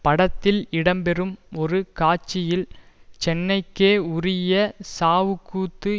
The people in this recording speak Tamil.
படத்தில் இடம்பெறும் ஒரு காட்சியில் சென்னைக்கே உரிய சாவுக் கூத்து